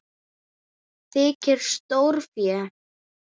Þykir stórfé.